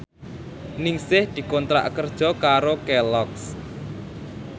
Ningsih dikontrak kerja karo Kelloggs